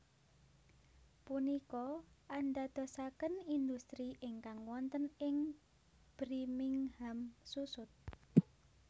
Punika andadosaken industri ingkang wonten ing brimingham susut